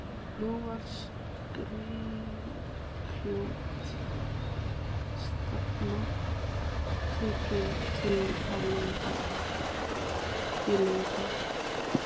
Nú var skrykkjótt stefnan tekin inn í Laugardal.